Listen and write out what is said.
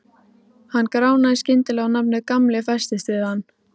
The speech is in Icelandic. Hann gránaði skyndilega og nafnið Gamli festist við hann.